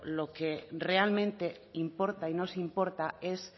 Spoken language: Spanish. lo que realmente importa y nos importa es